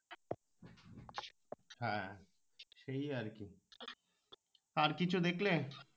হ্যাঁ সেই আর কি আর কিছু দেখলে